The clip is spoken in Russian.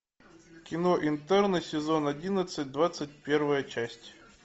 кино интерны сезон одиннадцать двадцать первая часть